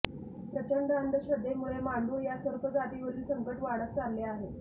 प्रचंड अंधश्रद्धेमुळे मांडूळ या सर्प जातीवरील संकट वाढत चालले आहे